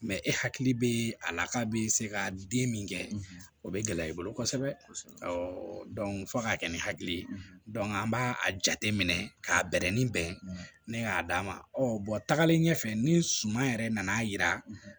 e hakili bɛ a la k'a bɛ se ka den min kɛ o bɛ gɛlɛya i bolo kosɛbɛ fo k'a kɛ ni hakili ye an b'a a jateminɛ k'a bɛrɛnni bɛn ne y'a d'a ma tagalen ɲɛfɛ ni suma yɛrɛ nan'a yira